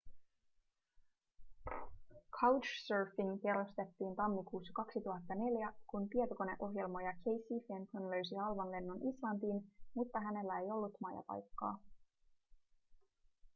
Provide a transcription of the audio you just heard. couchsurfing perustettiin tammikuussa 2004 kun tietokoneohjelmoija casey fenton löysi halvan lennon islantiin mutta hänellä ei ollut majapaikkaa